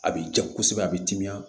A bɛ ja kosɛbɛ a bɛ timiya